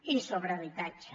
i sobre habitatge